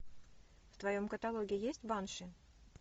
в твоем каталоге есть банши